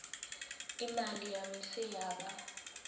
imali yami seyaba